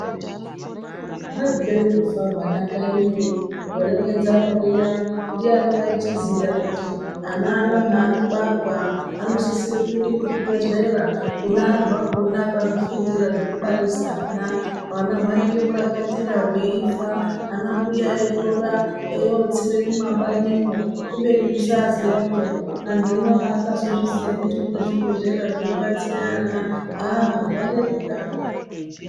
Hwaipere kufa hwana kanyiyo, gore renzara riya ndiani waichiziya kuti ana ano haanobarwa anosisirwe kuenda kuzvibhehlera kune akazvifundira zvekubarise ana . Hwana hwaiite murakatira hweifa ana mbuya veitora eiotsira mumabanimwo kubeni kusaziya peya. Anhu pakazozviziya kuti kune zvibhedhlera zvinobatsira ana ahh zvareruka.